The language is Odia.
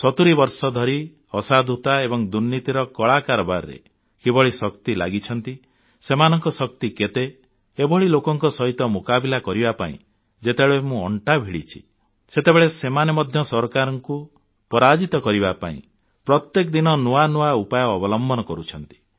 70 ବର୍ଷ ଧରି ଅସାଧୁ ଏବଂ ଦୁର୍ନୀତିର କଳା କାରବାରରେ କିଭଳି ଶକ୍ତି ଲାଗିଛନ୍ତି ସେମାନଙ୍କ ଶକ୍ତି କେତେ ଏଭଳି ଲୋକଙ୍କ ସହିତ ମୁକାବିଲା କରିବା ପାଇଁ ଯେତେବେଳେ ମୁଁ ଅଣ୍ଟା ଭିଡ଼ିଛି ସେତେବେଳେ ସେମାନେ ମଧ୍ୟ ସରକାରଙ୍କୁ ପରାଜିତ କରିବା ପାଇଁ ପ୍ରତ୍ୟେକ ଦିନ ନୂଆ ନୂଆ ଉପାୟ ଅବଲମ୍ବନ କରୁଛନ୍ତି